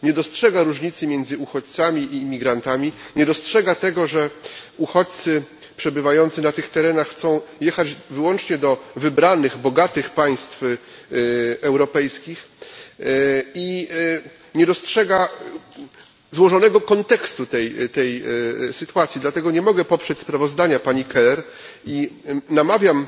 Nie dostrzega różnicy między uchodźcami i migrantami, nie dostrzega tego, że uchodźcy przebywający na tych terenach chcą jechać wyłącznie do wybranych bogatych państw europejskich, i nie dostrzega złożonego kontekstu tej sytuacji, dlatego nie mogę poprzeć sprawozdania pani Keller i namawiam